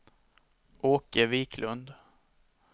Åke Wiklund